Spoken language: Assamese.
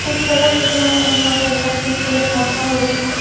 পিছফালে কিছুমান মানুহ আৰু এজাক শিশু দেখা পোৱা গৈছে।